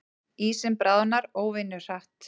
Ísinn bráðnar óvenju hratt